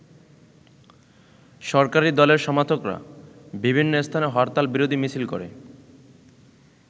সরকারি দলের সমর্থকরা বিভিন্ন স্থানে হরতাল বিরোধী মিছিল করে।